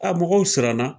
A mɔgɔw siranna